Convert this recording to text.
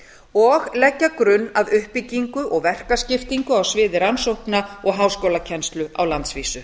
kennslu og leggja grunn að uppbyggingu og verkaskiptingu á sviði rannsókna og háskólakennslu á landsvísu